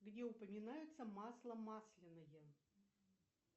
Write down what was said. где упоминается масло масляное